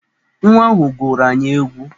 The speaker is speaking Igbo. Nwa ahụ gụrụ anyị egwu!